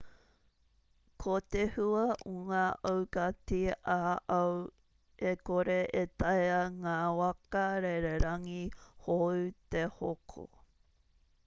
ko te hua o ngā aukati ā-ao e kore e taea ngā waka rererangi hou te hoko